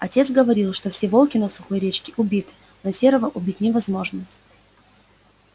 отец говорил что все волки на сухой речке убиты но серого убить невозможно